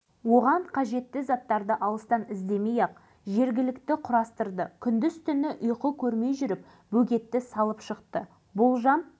үлкен сенім адамға қанат бітіреді екен талай есіктің табалдырығын тоздырды бірақ алашыбай дегенінен қайтпады ең алдымен